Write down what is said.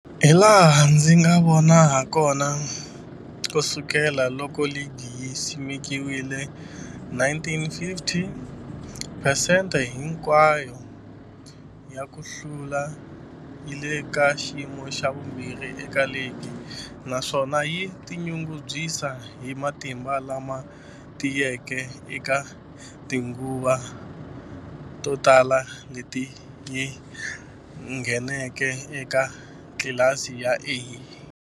Hilaha ndzi nga vona hakona, ku sukela loko ligi yi simekiwile, 1950, phesente hinkwayo ya ku hlula yi le ka xiyimo xa vumbirhi eka ligi, naswona yi tinyungubyisa hi matimba lama tiyeke eka tinguva to tala leti yi ngheneke eka tlilasi ya A.